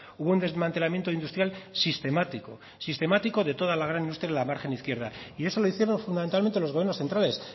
hubo un desmantelamiento industrial sistemático sistemático de toda la gran industria de la margen izquierda y eso lo hicieron fundamentalmente los gobiernos centrales